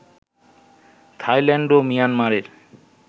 Thailand ও মিয়ানমারের